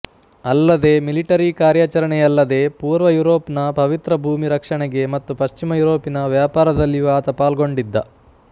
ಅಲ್ಲದೇ ಮಿಲಿಟರಿ ಕಾರ್ಯಾಚರಣೆಯಲ್ಲದೇ ಪೂರ್ವ ಯುರೊಪ್ ನ ಪವಿತ್ರ ಭೂಮಿ ರಕ್ಷಣೆಗೆ ಮತ್ತುಪಶ್ಚಿಮ ಯುರೊಪಿನ ವ್ಯಾಪಾರದಲ್ಲಿಯೂ ಆತ ಪಾಲ್ಗೊಂಡಿದ್ದ